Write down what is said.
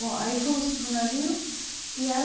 Bom, aí fomos para o navio e era...